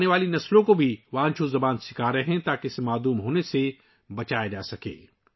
وہ آنے والی نسلوں کو بھی وانچو زبان سکھا رہے ہیں تاکہ اسے معدوم ہونے سے بچایا جا سکے